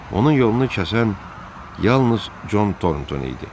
Onun yolunu kəsən yalnız Con Tornton idi.